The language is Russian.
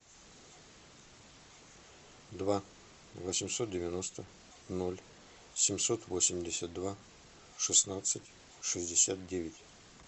два восемьсот девяносто ноль семьсот восемьдесят два шестнадцать шестьдесят девять